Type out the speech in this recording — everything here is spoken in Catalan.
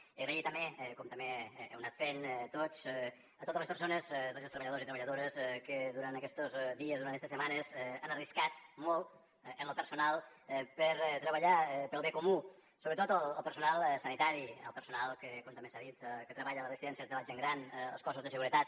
donar les gràcies també com també heu anat fent tots a totes les persones a tots els treballadors i treballadores que durant aquestos dies durant estes setmanes han arriscat molt en lo personal per treballar pel bé comú sobretot el personal sanitari el personal que com també s’ha dit treballa a les residències de la gent gran els cossos de seguretat